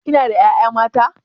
Kina da ƴaƴa mata?